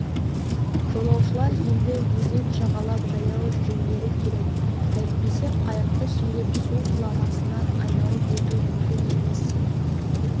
жолаушылар енді өзен жағалап жаяу жүрулері керек әйтпесе қайықты сүйреп су құламасынан айналып өту мүмкін емес